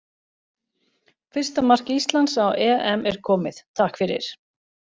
Fyrsta mark Íslands á EM er komið, takk fyrir.